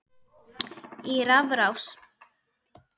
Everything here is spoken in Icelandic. í rafrás